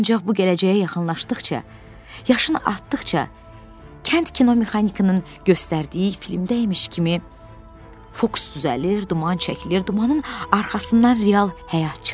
Ancaq bu gələcəyə yaxınlaşdıqca, yaşın artdıqca, kənd kinomexanikinin göstərdiyi filmdəymiş kimi fokus düzəlir, duman çəkilir, dumanın arxasından real həyat çıxır.